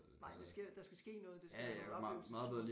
Nej der sker der skal ske noget det skal være en oplevelsestur